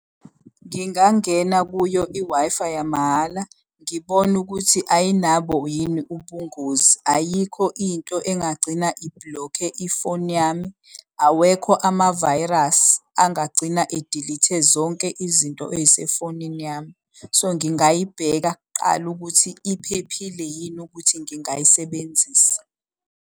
Ngingangena kuyo i-Wi-Fi yamahhala ngibone ukuthi ayinabo yini ubungozi, ayikho into engagcina iblokhe ifoni yami, awekho amavayirasi angagcina edelete zonke izinto ey'sefonini yami. So ngingayibheka kuqala ukuthi iphephile yini ukuthi ngingayisebenzisa.